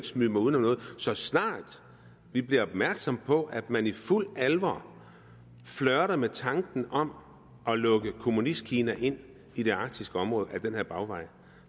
smyge mig uden om noget at så snart at vi blev opmærksomme på at man i fuld alvor flirtede med tanken om at lukke kommunistkina ind i det arktiske område ad den her bagvej